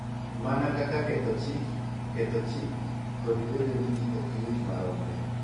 Mana kaka ketho chik, ketho chik, kod bedo ni ji ok yuti maromre.